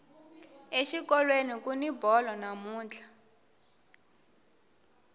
exikolweni kuni bolo namuntlha